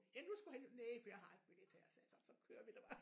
Ja nu skulle han næh for jeg har en billet her sagde jeg så så kører vi da bare